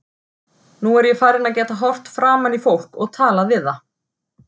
Nú er ég farin að geta horft framan í fólk og talað við það.